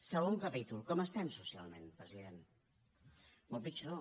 segon capítol com estem socialment president molt pitjor